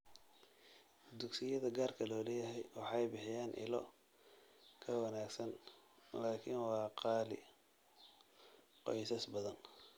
Dugsiyada gaarka loo leeyahay waxay bixiyaan ilo ka wanaagsan, laakiin waa qaali qoysas badan.